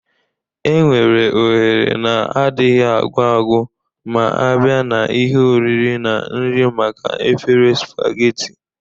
Enwere ohere na-adịghị agwụ agwụ ma a bịa n'ihe oriri na nri maka efere spageti.